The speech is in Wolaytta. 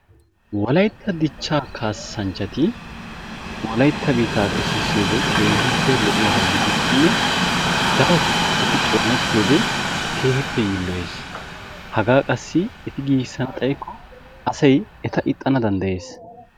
Wolaytta dichcha kaassanchchati wolaytta biittaa xeesissiyoode keehippe lo''iyaaba gidikkonne darottoo eti xoonettiyode keehippe yiilloyes. haga qassi eti giigissana xaykko asay eta ixxana danddayees.